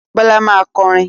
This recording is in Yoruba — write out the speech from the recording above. Bọ́lá máa kọrin.